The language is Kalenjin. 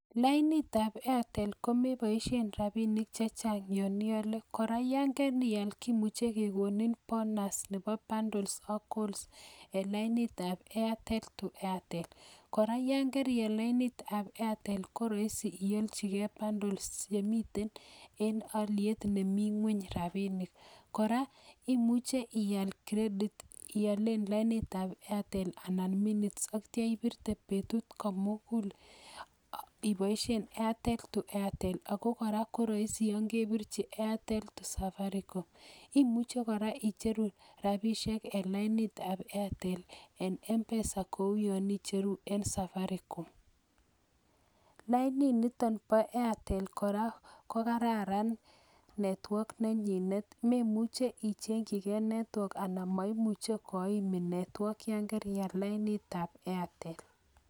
Lainitab Airtel komeboishien rabinik chechangyon iole, akora yon keial kimuche kekonin bonus nebo bundles ak calls en lainat ab Airtel akoi Airtel. Kora yon serial lainitab Airtel koroisi iolchi gee bundles chemiten en oliet nemi ngwony rabinik. Kora imuche ial kredit iolchii lainitab Airtel anan KO minutes yeityoo ibirtee betut komugul iboishien lainitab Airtel bokoi Airtel kora koroisi yon kebirchi kongeten Airtel akoi lainitab safarikom, Imuche kora icheruu rabisiek en lainitab Airtel en mpesa kouyon icheruu en safarikom. Laini nitok boo Airtel kora kokararan network nenyinet memuchi ichengchi gee network anan moimuche koimiin network yon kerial lainitab airtel